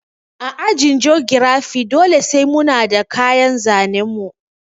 A ajin jogirafi dole sai muna da kayan zanen mu